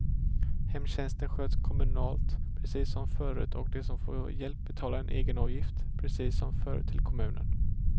Hemtjänsten sköts kommunalt precis som förut och de som får hjälp betalar en egen avgift precis som förut till kommunen.